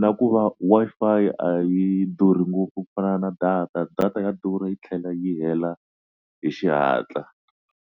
na ku va Wi-Fi a yi durhi ngopfu ku fana na data data ya durha yi tlhela yi hela hi xihatla.